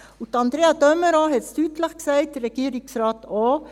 Und Andrea de Meuron hat es deutlich gesagt, der Regierungsrat auch: